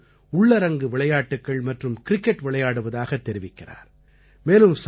குழந்தைகளோடு உள்ளரங்கு விளையாட்டுக்கள் மற்றும் கிரிக்கெட் விளையாடுவதாகத் தெரிவிக்கிறார்